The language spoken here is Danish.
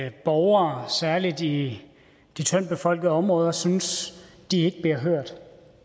at borgere særlig i de tyndtbefolkede områder synes de ikke bliver hørt